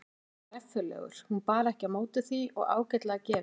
Hann var reffilegur hún bar ekki á móti því og ágætlega gefinn.